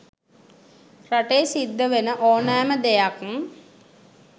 රටේ සිද්ධ වෙන ඕනෑම දෙයක්